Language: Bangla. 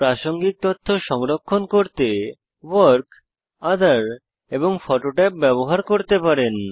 প্রাসঙ্গিক তথ্য সংরক্ষণ করতে ভর্ক ওঠের এবং ফোটো ট্যাব ব্যবহার করতে পারেন